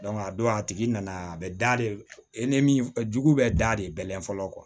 a don a tigi nana a bɛ da de e ni min bɛ da de bɛlɛn fɔlɔ